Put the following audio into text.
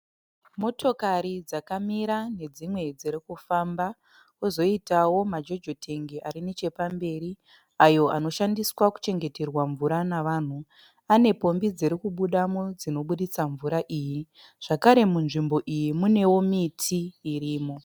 Motokari dzakamira ne dzimwe dzirikufamba. Kozoitawo majojo tengi ari nechepamberi ayo kanoshandiswa kuchengeterwa mvura nevanhu. Ane pombi dzirikubudamo dzinoburitsa mvura iyi zvakare munzvimbo iyi munewo miti irimo.